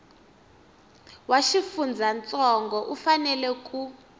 wa xifundzantsongo u fanela ku